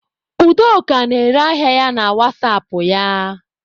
Udoka na-ere ahịa ya na wasapụ ya